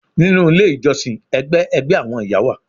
Ninu ile ijọsin, ẹgbẹ ẹgbẹ awọn iya wa